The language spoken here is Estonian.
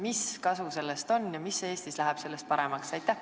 Mis kasu sellest on ja mis läheb Eestis sellest paremaks?